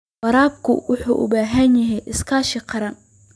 Waraabku waxa uu u baahan yahay iskaashi qaran.